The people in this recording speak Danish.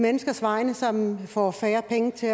menneskers vegne som får færre penge til